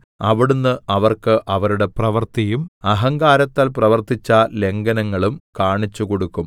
അവിടുന്ന് അവർക്ക് അവരുടെ പ്രവൃത്തിയും അഹങ്കാരത്താൽ പ്രവർത്തിച്ച ലംഘനങ്ങളും കാണിച്ചുകൊടുക്കും